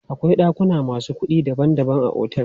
Akwai ɗakuna masu kuɗi daban daban a otel.